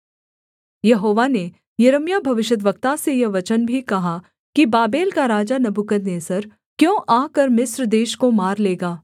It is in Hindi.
यहोवा ने यिर्मयाह भविष्यद्वक्ता से यह वचन भी कहा कि बाबेल का राजा नबूकदनेस्सर क्यों आकर मिस्र देश को मार लेगा